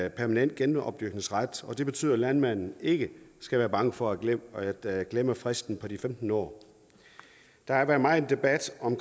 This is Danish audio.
en permanent genopdyrkningsret det betyder at landmanden ikke skal være bange for at glemme at glemme fristen på de femten år der har været megen debat om